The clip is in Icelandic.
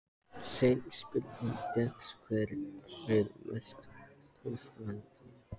Seinni spurning dagsins er: Hver er mesti töffarinn?